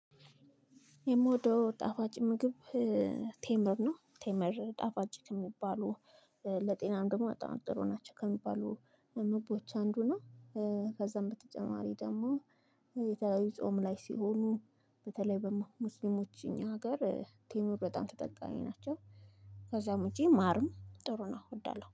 የምወደው ጣፋጭ ምግብ ቴመር ነው ቴመር ጣፋጭ ከሚባሉ ለጤናም ደግሞ በጣም ጥሩ ናቸው ከሚባሉ ምግቦች አንዱ ነው። ከዛም በተጨማሪ ደግሞ የተለያዩ ጾም ላይ ሲሆኑ በተለይ በሙስሊሞች እኛ ሀገር ቴምር በጣም ተጠቃሚ ናቸው። ከዛም ውጪ ማርም ጥሩ ነው። እወዳለሁ